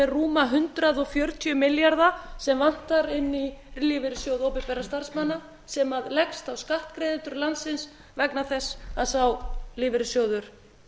rúma hundrað fjörutíu milljarða sem vantar inn í lífeyrissjóð opinberra starfsmanna sem leggst á skattgreiðendur landsins vegna þess að sá lífeyrissjóður